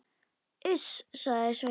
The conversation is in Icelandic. Iss, sagði Sveinn.